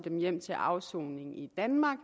hjem til afsoning i danmark